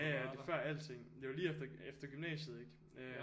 Ja ja det er før alting det var lige efter gymnasiet ikke